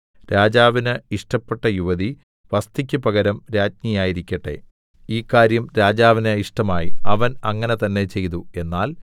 രാജാവിന് ഇഷ്ടപ്പെട്ട യുവതി വസ്ഥിക്ക് പകരം രാജ്ഞിയായിരിക്കട്ടെ ഈ കാര്യം രാജാവിന് ഇഷ്ടമായി അവൻ അങ്ങനെ തന്നേ ചെയ്തു